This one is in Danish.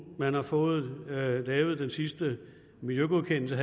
man har fået lavet den sidste miljøgodkendelse